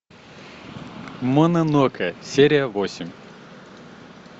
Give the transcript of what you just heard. мононоке серия восемь